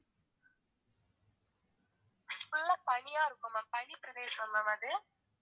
full ஆ பனியா இருக்கும் ma'am பனிப்பிரதேசம் ma'am அது